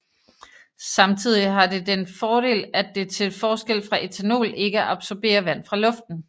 Samtidig har det den fordel at det til forskel fra ethanol ikke absorberer vand fra luften